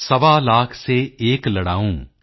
ਸਵਾ ਲਾਖ ਸੇ ਏਕ ਲੜਾਊਂ